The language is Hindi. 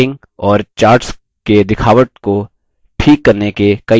charts के दिखावट को ठीक करने के कई ऑप्शन्स होते हैं